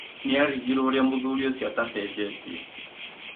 Nĩarigirwo ũrĩa mũthuri ũcio atacenjetie